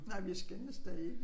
Nej vi skændtes da ikke